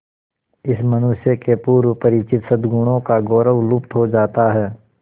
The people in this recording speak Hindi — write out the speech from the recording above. इस मनुष्य के पूर्व परिचित सदगुणों का गौरव लुप्त हो जाता है